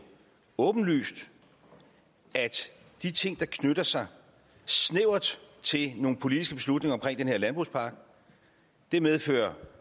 åbenlyst at de ting der knytter sig snævert til nogle politiske slutninger omkring den her landbrugspakke medfører